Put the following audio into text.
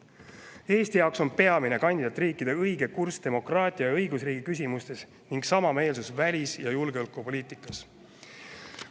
Eesti jaoks on peamine kandidaatriikide õige kurss demokraatia ja õigusriigi küsimustes ning samameelsus välis- ja julgeolekupoliitikas.